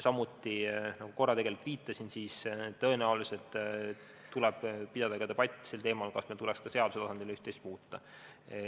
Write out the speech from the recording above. Samuti, nagu ma korra viitasin, tõenäoliselt tuleb pidada debatt sel teemal, kas meil tuleks ka seaduse tasandil üht-teist muuta.